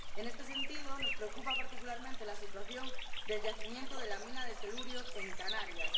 En este sentido, nos preocupa particularmente la situación del yacimiento de la mina de telurio en Canarias.